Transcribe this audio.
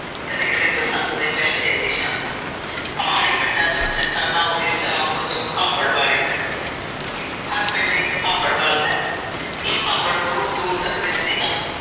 ਕਦੇ-ਕਦੇ ਬਸੰਤ ਦੇ ਪਹਿਲੇ ਦਿਨ ਦੀ ਸ਼ਾਮ ਨੂੰ ਵੀ। ਪਹਾੜੀ ਪਿੰਡਾਂ ਵਿਚ ਚੱਟਾਨਾਂ ਉਤੇ ਸਲਾਮ ਵੱਜੋ ਭਾਬੜ ਵਾਲੇ ਜਾਂਦੇ ਹਨ। ਹਰ ਇਕ ਪਿੰਡ ਭਾਬੜ ਬਲਦਾ ਹੈ। ਇਹ ਭਾਬੜ ਦੂਰ ਦੂਰ ਤੱਕ ਦਿਸਦੇ ਹਨ।